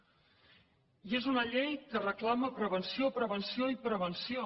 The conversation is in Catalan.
i és una llei que reclama prevenció prevenció i prevenció